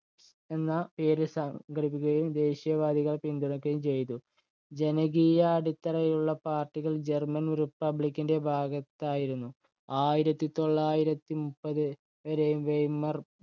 എന്ന പേരിൽ സംഘടിക്കുകയും ദേശീയവാദികളെ പിന്തുണയ്ക്കുകയും ചെയ്തു. ജനകീയാടിത്തറയുള്ള പാർട്ടികൾ ജർമൻ republic ഇന്‍റെ ഭാഗത്തായിരുന്നു. ആയിരത്തി തൊള്ളായിരത്തി മുപ്പത് വരെയും വെയ്മർ